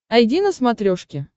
айди на смотрешке